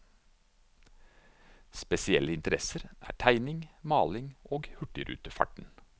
Spesielle interesser er tegning, maling og hurtigrutefarten.